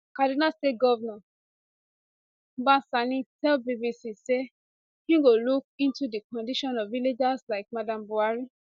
kaduna state govnor uba sani tell bbc say im go look into di condition of villagers like madam buhari